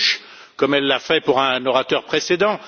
Bush, comme elle l'a fait pour un orateur précédent.